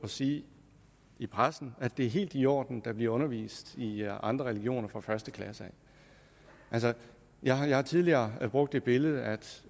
sige i pressen at det er helt i orden at der bliver undervist i i andre religioner fra første klasse jeg har tidligere brugt det billede at